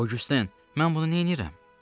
Ogüsten, mən bunu neynirəm?